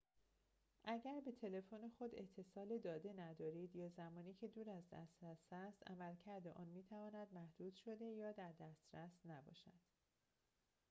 اگر به تلفن خود اتصال داده ندارید یا زمانی که دور از دسترس است عملکرد آن می‌تواند محدود شده یا در دسترس نباشد